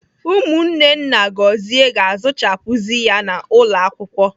Ụmụnne nna Gọzie ga-azụchapuzi ya n'ụlọ akwụkwọ.